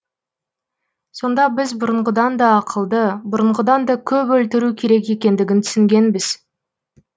сонда біз бұрынғыдан да ақылды бұрынғыдан да көп өлтіру керек екендігін түсінгенбіз